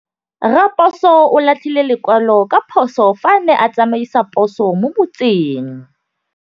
Raposo o latlhie lekwalô ka phosô fa a ne a tsamaisa poso mo motseng.